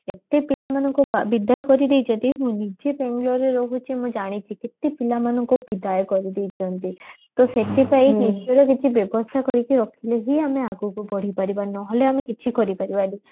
ଏତେ ପିଲାମାନଙ୍କୁ ବିଦାୟ କରିଦେଇ ଛନ୍ତି ମୁଁ ନିଜେ ରହୁଛି ମୁଁ ଜାଣିଛି କେତେ ପିଲାମାନଙ୍କୁ ବିଦାୟ କରିଦେଇଛନ୍ତି ତ ସେଥି ପାଇଁ ନିଜର କିଛି ବ୍ୟବସ୍ତା କରିକି ରଖିଲେ ହିଁ ଆମେ ଆଗକୁ ବଢି ପାରିବା ନହଲେ ଆମେ କିଛି କରି ପାରିବାନି